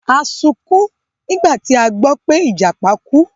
A sunkún nígbà tí a gbọ́ pé Ìjàpá kú.